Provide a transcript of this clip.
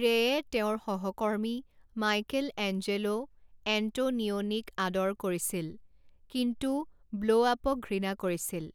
ৰেয়ে তেওঁৰ সহকৰ্মী মাইকেলএঞ্জেলো এণ্টোনিওনিক আদৰ কৰিছিল, কিন্তু ব্লোআপক ঘৃণা কৰিছিল,